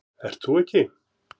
Ert þú ekki